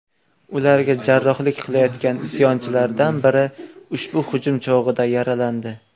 Ularga hamrohlik qilayotgan isyonchilardan biri ushbu hujum chog‘ida yaralandi.